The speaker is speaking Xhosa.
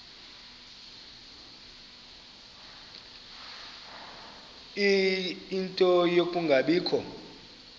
ie nto yokungabikho